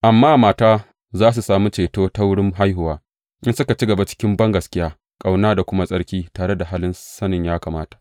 Amma mata Za tă sami ceto za su sami ceto ta wurin haihuwa, in suka ci gaba cikin bangaskiya, ƙauna da kuma tsarki tare da halin sanin ya kamata.